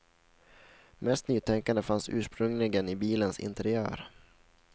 Mest nytänkande fanns ursprungligen i bilens interiör.